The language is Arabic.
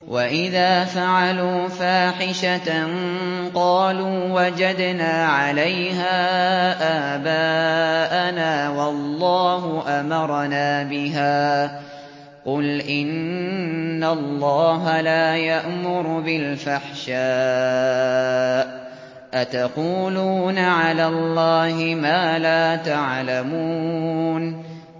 وَإِذَا فَعَلُوا فَاحِشَةً قَالُوا وَجَدْنَا عَلَيْهَا آبَاءَنَا وَاللَّهُ أَمَرَنَا بِهَا ۗ قُلْ إِنَّ اللَّهَ لَا يَأْمُرُ بِالْفَحْشَاءِ ۖ أَتَقُولُونَ عَلَى اللَّهِ مَا لَا تَعْلَمُونَ